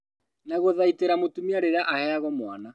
Wa gũthaitĩra mũtumia rĩrĩa aheagwo mwana